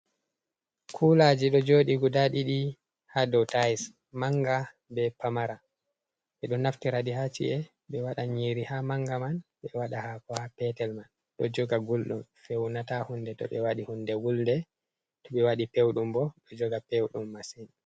Kulaji ɗo joɗi guda ɗiɗi ha dow tais, manga be pamara ɓeɗo naftiraɗi haci’e ɓe waɗan nyiri ha manga man, ɓe waɗa hako, ha petel man ɗo joga gulɗum fewnata hunde to ɓe waɗi hunde wulde to ɓe waɗi pewɗum bo ɗo joga pewɗum masin.